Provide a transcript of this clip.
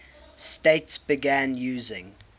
states began using